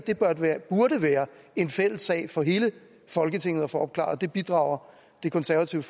burde være en fælles sag for hele folketinget at få opklaret det bidrager det konservative